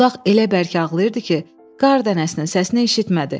Budaq elə bərk ağlayırdı ki, qar dənəsinin səsini eşitmədi.